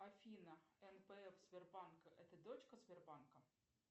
афина нпф сбербанк это дочка сбербанка